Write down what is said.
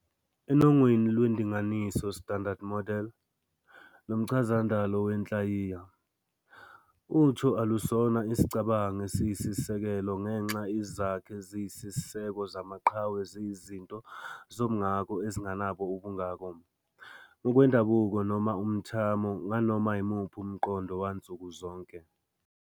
Enongweni lwendinganiso "Standard Model" lomchazandalo wenhlayiya, utho alusona isicabango esiyisisekelo ngenxa izakhi eziyisiseko zamachwe ziyizinto zomngako ezingenabo "ubungako" ngokwendabuko noma "umthamo" nganoma imuphi umqondo wansuku zonke.